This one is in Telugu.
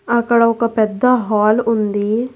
అక్కడ ఒక పెద్ద హాల్ ఉంది.